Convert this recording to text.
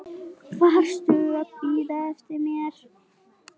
Varstu að bíða eftir mér?